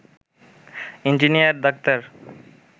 engineer doctor